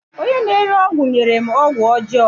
Onye na-ere ọgwụ nyere m ọgwụ ọjọọ